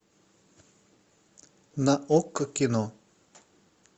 на окко кино